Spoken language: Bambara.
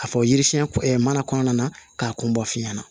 A fɔ yiri siɲɛ mana kɔnɔna na k'a kun bɔ f'i ɲɛna